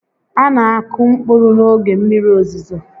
A na akụ mkpụrụ n'oge mmiri ozizo